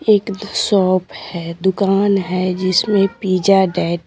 एक the shop है दुकान है जिसमें पिज़्जा डेट --